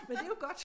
Men det jo godt!